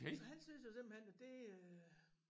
Så han synes jo simpelthen at det øh